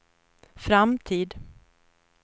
framtid